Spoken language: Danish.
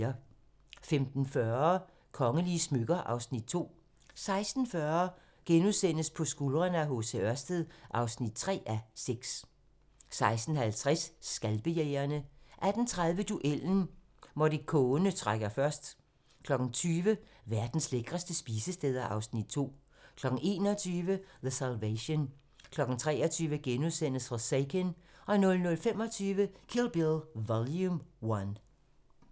15:40: Kongelige smykker (Afs. 2) 16:40: På skuldrene af H. C. Ørsted (3:6)* 16:50: Skalpejægerne 18:30: Duellen - Morricone trækker først 20:00: Verdens lækreste spisesteder (Afs. 2) 21:00: The Salvation 23:00: Forsaken * 00:25: Kill Bill Vol. 1